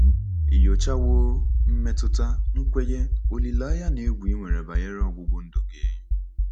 Ị nyochawo mmetụta, nkwenye, olileanya, na egwu i nwere banyere ọgwụgwụ ndụ gị?